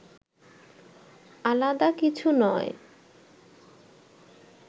আলাদা কিছু নয়